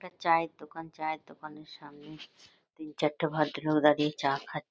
একটা চায়ের দোকান। চায়ের দোকানের সামনে তিন চারটে ভদ্রলোক দাঁড়িয়ে চা খা--